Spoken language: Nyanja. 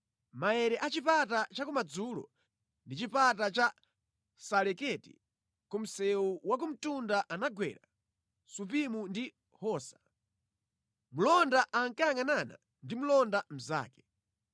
Maere a chipata chakumadzulo ndi chipata cha Saleketi ku msewu wa ku mtunda anagwera Supimu ndi Hosa. Mlonda ankayangʼanana ndi mlonda mnzake: